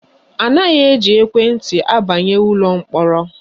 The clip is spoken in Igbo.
Anaghị eji ekwenti abanye ụlọ mkpọrọ